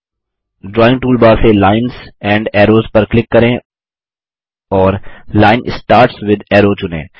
drawing toolbar से जीटीजीटी lines and arrows पर क्लिक करें और लाइन स्टार्ट्स विथ अरो चुनें